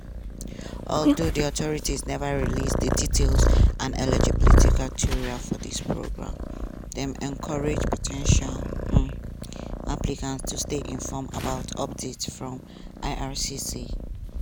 although authorities neva release di details and eligibility criteria for dis programs dem encourage po ten tial um applicants to stay informed about updates from ircc.